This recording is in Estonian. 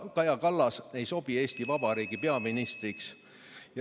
Kaja Kallas ei sobi Eesti Vabariigi peaministriks.